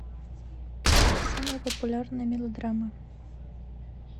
самые популярные мелодрамы